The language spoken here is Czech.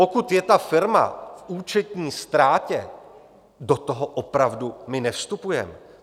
Pokud je ta firma v účetní ztrátě, do toho opravdu my nevstupujeme.